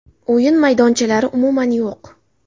O‘yin maydonchalari umuman yo‘q.